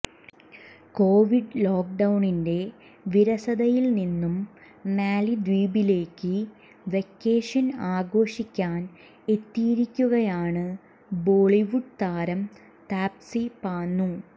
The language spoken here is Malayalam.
കോവിഡ് ലോക്ക്ഡൌണിന്റെ വിരസതയിൽ നിന്നും മാലിദ്വീപിലേക്ക് വെക്കേഷൻ ആഘോഷിക്കാൻ എത്തിയിരിക്കുകയാണ് ബോളിവുഡ് താരം താപ്സി പന്നു